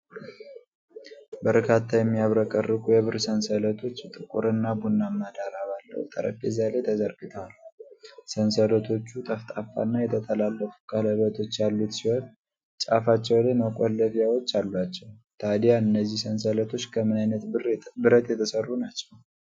በርካታ የሚያብረቀርቁ የብር ሰንሰለቶች ጥቁርና ቡናማ ዳራ ባለው ጠረጴዛ ላይ ተዘርግተዋል። ሰንሰለቶቹ ጠፍጣፋና የተጠላለፉ ቀለበቶች ያሉት ሲሆን፣ ጫፋቸው ላይ መቆለፊያዎች አሏቸው። ታዲያ እነዚህ ሰንሰለቶች ከምን ዓይነት ብረት የተሠሩ ናቸው?